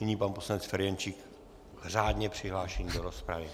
Nyní pan poslanec Ferjenčík - řádně přihlášený do rozpravy.